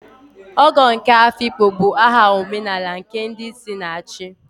Ogo nke Afikpo bụ aha omenala nke ndi isi na-achi.